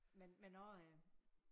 Men men også øh